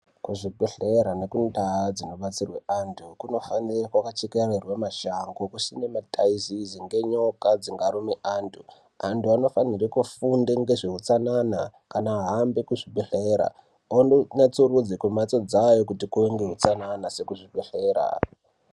Kuzvibhedhlera nekundaa dzinobatsirwa antu ,hunofanirwa kuchekererwe mashango kusine mataizezi ngenyoka dzinga rume antu anofanirwe kufunde zveutsanana kana ahambe kuzvibhedhlera ondo natsurudza kumhatso dzayo kuti anoita kumbatso dzavo kuti kuve neutsanana nekuzvi bhedhlera.